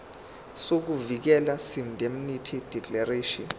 sokuvikeleka seindemnity declaration